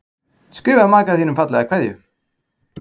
Skrifaðu maka þínum fallega kveðju.